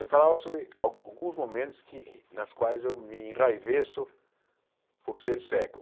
Eu falava sobre ah alguns momentos nas quais eu me enraiveço por ser cego.